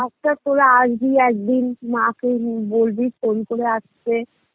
তোরা আসবি একদিন মাকে নি~ বলবি phone করে আসতে